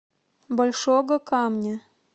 большого камня